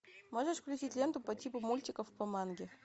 можешь включить ленту по типу мультиков по манге